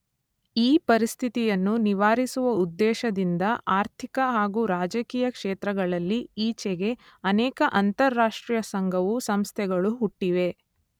ಈ ಪರಿಸ್ಥಿತಿಯನ್ನು ನಿವಾರಿಸುವ ಉದ್ದೇಶದಿಂದ ಆರ್ಥಿಕ ಹಾಗೂ ರಾಜಕೀಯ ಕ್ಷೇತ್ರಗಳಲ್ಲಿ ಈಚೆಗೆ ಅನೇಕ ಅಂತಾರಾಷ್ಟ್ರೀಯ ಸಂಘವೂ ಸಂಸ್ಥೆಗಳೂ ಹುಟ್ಟಿವೆ.